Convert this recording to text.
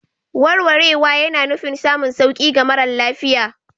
Warwarewa yana nufin samun sauƙi ga mara lafiya.